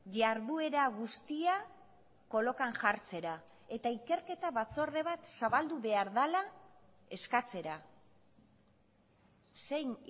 jarduera guztia kolokan jartzera eta ikerketa batzorde bat zabaldu behar dela eskatzera zein